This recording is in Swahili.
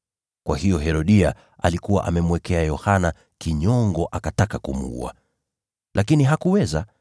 Kwa hiyo Herodia alikuwa amemwekea Yohana kinyongo akataka kumuua. Lakini hakuweza,